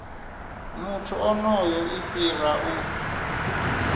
muthu onoyo i fhira u